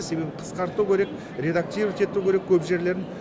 себебі қысқарту керек редактировать ету керек көп жерлерін